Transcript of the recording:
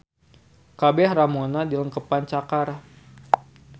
Kabeh ramona dilengkepan cakar.